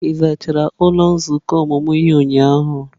Ị zachara ụlọ nzukọ ọmụmụ ihe ụnyahụ?